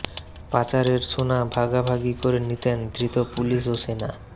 পাচারের সোনা ভাগাভাগি করে নিতেন ধৃত পুলিশ ও সেনা